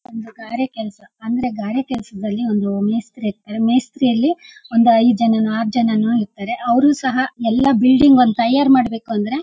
ಒಂದು ಗಾರೆ ಕೆಲಸ ಅಂದ್ರೆ ಗಾರೆ ಕೆಲ್ಸದಲ್ಲಿ ಒಂದು ಮೇಸ್ತ್ರಿ ಇರ್ತ್ತರೆ ಮೇಸ್ತ್ರಿ ಅಲ್ಲಿ ಒಂದು ಐದು ಜನನೋ ಆರು ಜನನೋ ಇರ್ತಾರೆ ಅವರು ಸಹ ಎಲ್ಲ ಒಂದು ಬಿಲ್ಡಿಂಗ್ ಒಂದು ತಯಾರ್ ಮಾಡ್ಬೇಕು ಅಂದ್ರೆ--